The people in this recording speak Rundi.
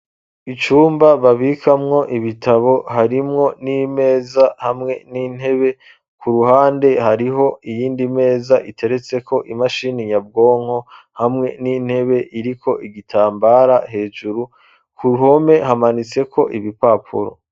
icumba babikamwo ibitabo , harimwo n'imeza hamwe n'intebe, ku ruhande hariho iyindi meza iteretseko imashini nyabwonko, hamwe n'intebe iriko igitambara hejuru ku ,ruhome hamanitse ko ibipapuro.